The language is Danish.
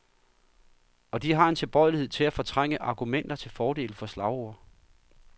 Og de har en tilbøjelighed til at fortrænge argumenter til fordel for slagord.